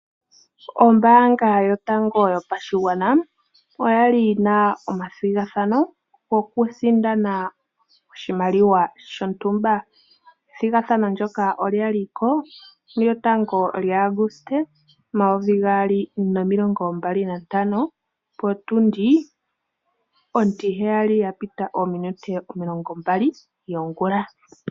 Ombanga yotango yopashigwana oyali yina omathigathano goku sindana oshimaliwa shontumba. Ethigathano ndyoka olya liko mulyotango lyaAuguste omayovi gaali nomilongo mbali nantano. Potundi ontiheyali ya pita ominute omilongo mbali yongula.